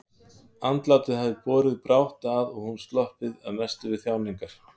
Andlátið hafði borið brátt að og hún sloppið að mestu við þjáningar.